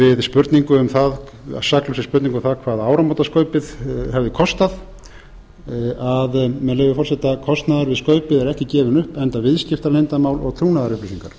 við saklausri spurningu um það hvað áramótaskaupið hefði kostnað að með leyfi forseta kostnaður við skaupið er ekki gefinn upp enda viðskiptaleyndarmál og trúnaðarupplýsingar